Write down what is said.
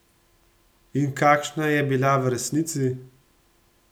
In kakšna je bila v resnici?